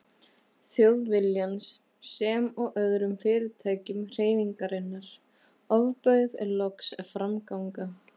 Þjóðviljans sem og öðrum fyrirtækjum hreyfingarinnar, ofbauð loks framganga